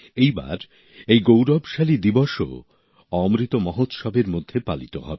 এই বার এই গৌরবশালী দিবসও অমৃত মহোৎসবের মধ্যে পালিত হবে